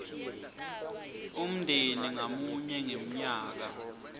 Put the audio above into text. umndeni ngamunye ngemnyaka